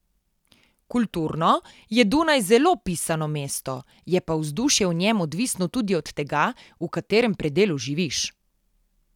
Kulturno je Dunaj zelo pisano mesto, je pa vzdušje v njem odvisno tudi od tega, v katerem predelu živiš.